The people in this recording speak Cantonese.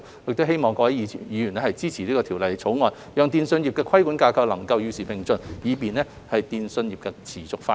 我希望各位議員支持《條例草案》，讓電訊規管架構能夠與時並進，以便電訊業持續發展。